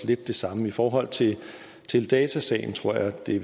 lidt det samme i forhold til teledatasagen tror jeg det